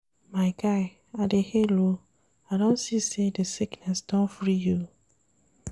My guy, I dey hail o, I don see sey di sickness don free you.